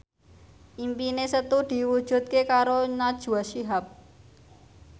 impine Setu diwujudke karo Najwa Shihab